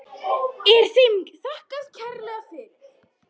Er þeim þakkað kærlega fyrir.